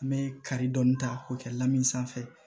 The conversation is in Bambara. An bɛ kari dɔɔnin ta k'o kɛ la min sanfɛ